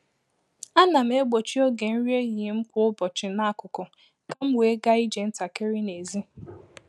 A na m egbochi oge nri ehihie m kwa ụbọchi n’akụkụ ka m wee gaa ije ntakịrị n’èzí.